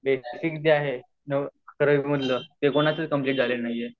तरी सर्वांच बेसिक जे आहे अकरवी मधल ते कोणाच कंप्लीट झालेल नाही आहे